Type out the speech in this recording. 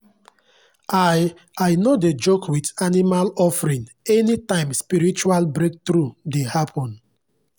i i no dey joke with animal offering anytime spiritual breakthrough dey happen.